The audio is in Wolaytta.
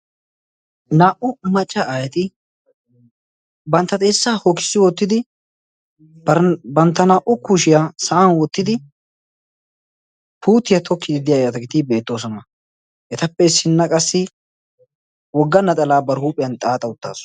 Naa"u macca aayeti bantta xeessaa hokissi wottidi bantta naa"u kushiyaa sa'an wottidi puutiya tokkiiddi de'iyaageetti beettoosona. Etappe issinna qassi wogga naxalaa bari huuphiyan xaaxa uttasu.